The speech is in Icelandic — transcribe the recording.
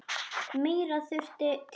Meira þurfi til.